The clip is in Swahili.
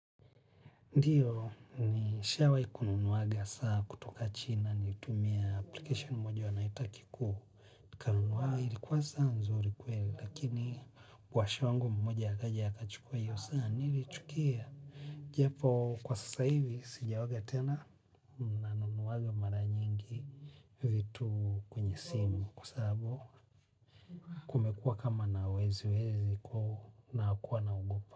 Ndiyo ni shawai ku nunuaga saa kutoka china nilitumia application moja wanaita kiku. Kanunua ilikuwa saa nzuri kweli lakini kwasha wangu mmoja akaja aka chukua hiyo saa nilichukia. Japo kwa sasa hivi sija oga tena na nunuwaga mara nyingi vitu kwenye simu kwa sababu kumekua kama na wezi wezi kwao na kuwa na ogopa.